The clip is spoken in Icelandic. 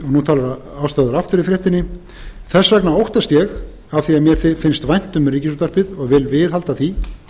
nú talar ástráðar aftur í fréttinni þess vegna óttast ég af því að mér finnst vænt um ríkisútvarpið og vil viðhalda því